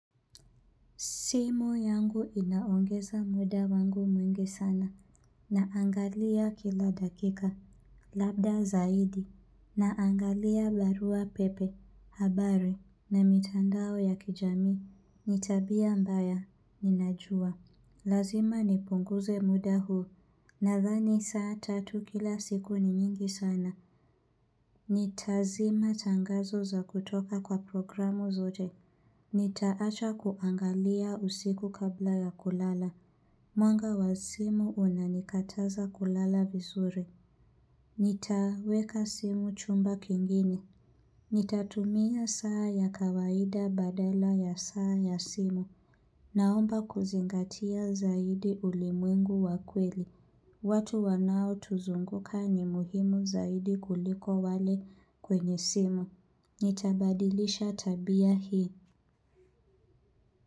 Simu yangu inaongeza muda wangu mwingi sana, naangalia kila dakika, labda zaidi, naangalia barua pepe, habari, na mitandao ya kijamii, nitabia mbaya, ninajua, lazima nipunguze muda huu, na dhani saa tatu kila siku ni nyingi sana. Nitazima tangazo za kutoka kwa programu zote Nitaacha kuangalia usiku kabla ya kulala Mwanga wa simu unanikataza kulala vizuri Nitaweka simu chumba kingine Nitatumia saa ya kawaida badala ya saa ya simu Naomba kuzingatia zaidi ulimwengu wakweli watu wanao tuzunguka ni muhimu zaidi kuliko wale kwenye simu. Nitabadilisha tabia hii.